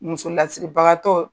Muso lasigi bagan tɔ